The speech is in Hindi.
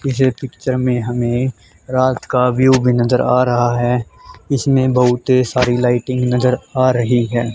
इसे पिक्चर में हमें रात का व्यू भी नजर आ रहा है इसमें बहुते सारी लाइटिंग नजर आ रही है।